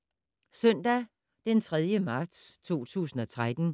Søndag d. 3. marts 2013